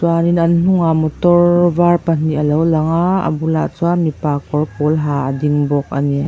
an hnungah motor var pahnih alo lang aaa a bulah chuan mipa kawr pawl ha a ding bawk ani.